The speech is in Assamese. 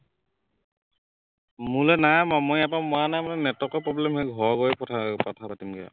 মোলৈ নাই মৰা মই ইয়াৰ পৰা মৰা নাই মানে network ৰ problem হয়, ঘৰ গৈ কথা কথা পাতিমগে